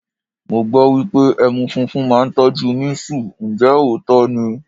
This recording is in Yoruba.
Mo gbọ́ wípé ẹmu funfun máa ń tọ́jú mísù, ǹjẹ́ òótọ́ ni?